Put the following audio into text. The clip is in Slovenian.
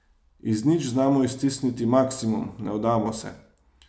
Iz nič znamo iztisniti maksimum, ne vdamo se ...